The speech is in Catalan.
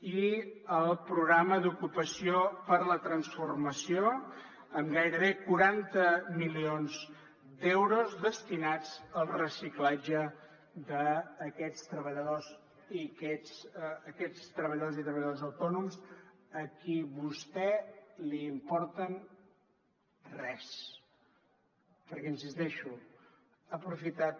i el programa d’ocupació per a la transformació amb gairebé quaranta milions d’euros destinats al reciclatge d’aquests treballadors i treballadores autònoms a qui vostè li importen gens perquè hi insisteixo ha aprofitat